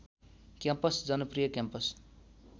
campus जनप्रिय campus